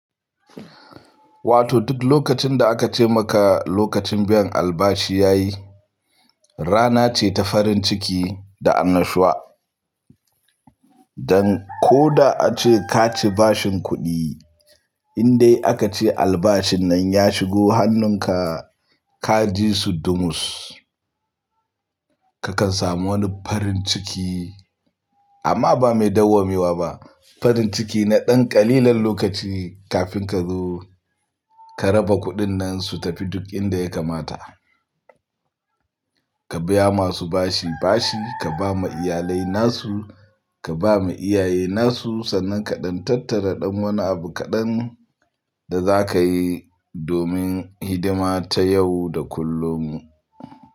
Wato duk lokacin da aka ce maka lokacin biyan albashi ya yi, rana ce ta farin ciki da annashuwa. Dan ko da ace ka ci bashin kuɗi, in dai aka ce albashin nan ya shigo hannunka, ka ji su dumus, ka kan samu wani farin ciki amma ba mai dawwamewa ba. Farin ciki na ɗan ƙalilan lokaci kafin ka zo ka raba kuɗin nan su tafi duk inda ya kamata. Ka biya masu bashi bashi, ka ba ma iyalai nasu, ka ba ma iyaye nasu, sannan ka ɗan tattara ɗan wani abu kaɗan da za ka yi domin hidima ta yau da kullum.